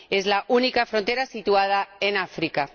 Es la única frontera situada en África.